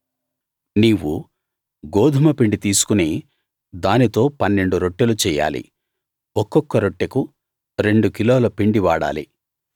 నీవు గోదుమ పిండి తీసుకుని దానితో పన్నెండు రొట్టెలు చెయ్యాలి ఒక్కొక్క రొట్టెకు రెండు కిలోల పిండి వాడాలి